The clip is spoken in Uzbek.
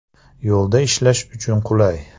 Yo‘lda ishlash uchun qulay.